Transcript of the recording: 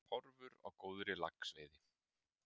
Horfur á góðri laxveiði